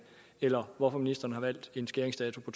eller hvorfor ministeren har valgt en skæringsdato